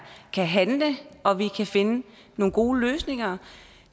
kan handle og at vi kan finde nogle gode løsninger